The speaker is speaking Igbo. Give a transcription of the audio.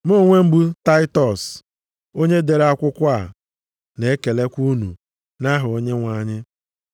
Mụ onwe m bụ Tatiọs, onye dere akwụkwọ a, na-ekelekwa unu nʼaha Onyenwe anyị.